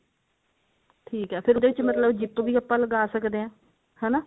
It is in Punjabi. ਠੀਕ ਹੈ ਫੇਰ ਇਹਦੇ ਵਿੱਚ zip ਵੀ ਆਪਾਂ ਲਗਾ ਸਕਦੇ ਹਾਂ ਹਨਾ